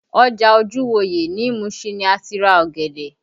Ọjà Ojuwoye ní Mushin ni a ti ra ọ̀gẹ̀dẹ̀